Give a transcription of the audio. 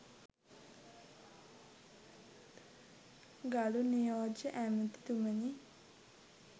ගරු නියෝජ්‍ය ඇමතිතුමනි